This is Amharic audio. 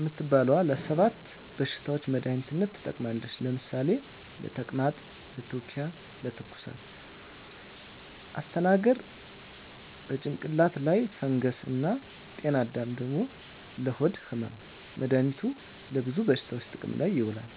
እምትባለዋ ለ 7 በሽታዎች መድሃኒትነት ትጠቅማለች ለምሳሌ፦ ለተቅማጥ፣ ለትዉኪያ፣ ለትኩሳት... ፣ አስተናግር፦ ለጭንቅላት ላይ ፈንገስ እና ጤናአዳም፦ ለሆድ ህመም... መድሃኒቱ ለብዙ በሽታዎች ጥቅም ላይ ይዉላሉ።